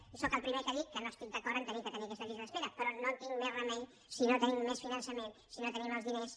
i sóc el primer que dic que no estic d’acord a haver de tenir aquestes llistes d’espera però no tinc més remei si no tenim més finançament si no tenim els diners